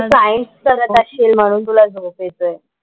तू science करत असशील म्हणून तुला झोप येतोय.